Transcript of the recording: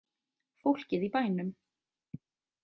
Fólkið í bænum.